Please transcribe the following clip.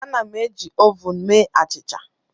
Ana m eji m ovun mee achịcha.